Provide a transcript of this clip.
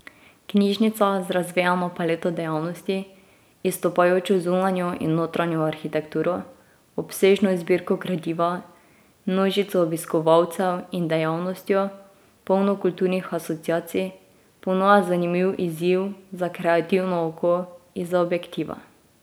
Knjižnica z razvejano paleto dejavnosti, izstopajočo zunanjo in notranjo arhitekturo, obsežno zbirko gradiva, množico obiskovalcev in dejavnostjo, polno kulturnih asociacij, ponuja zanimiv izziv za kreativno oko izza objektiva.